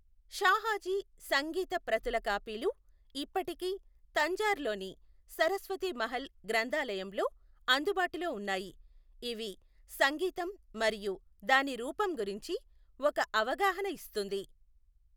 షాహాజీ సంగీత ప్రతుల కాపీలు ఇప్పటికీ తంజార్ లోని సరస్వతి మహల్ గ్రంధాలయంలో అందుబాటులో ఉన్నాయి, ఇవి సంగీతం మరియు దాని రూపం గురించి ఒక అవగాహన ఇస్తుంది.